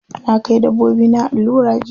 Na kai dabbobina allura jiya.